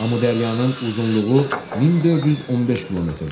Amudəryanın uzunluğu 1415 kmdir.